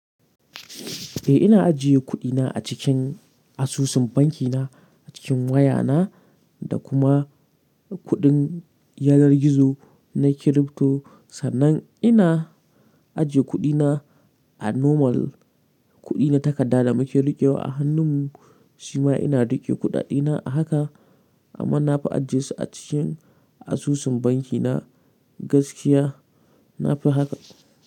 Eh ina ajiye kudina a cikin asusun banki na a cikin wayana da kuma kudin yanar gizo na crypto. Sannan ina ajiye kuɗina a normal kuɗi na takarda da muke riƙewa a hannun mu, shima ina riƙe kuɗa ɗena a haka amma na fi ajiyesu a cikin asusun bankina gaskiya na fi haka.